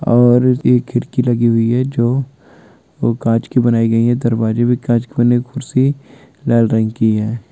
और एक खिड़की लगी हुई है। जो वह कांच की बनाई गई है दरवाजे भी कांच करने की कुर्सी लाल रंग की है।